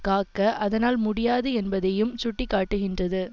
காக்க அதனால் முடியாது என்பதையும் சுட்டி காட்டுகின்றது